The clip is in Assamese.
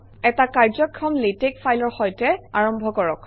এটা কাৰ্যক্ষম লেটেক্স ফাইলৰ সৈতে আৰম্ভ কৰক